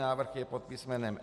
Návrh je pod písm.